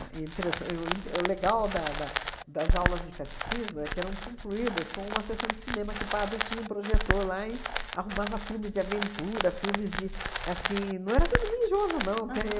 interessan o int o legal da da das aulas de catecismo é que eram concluídas com uma sessão de cinema que o padre tinha um projetor lá e arrumava filmes de aventura, filmes de... Assim, não era filme religioso, não. Porque eu